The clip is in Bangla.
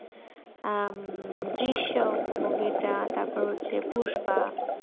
আহ drisiyam টা তারপর হচ্ছে puspa